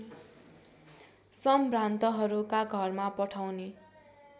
सम्भ्रान्तहरूका घरमा पठाउने